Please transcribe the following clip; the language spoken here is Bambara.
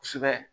Kosɛbɛ